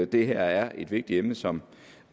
det her er et vigtigt emne som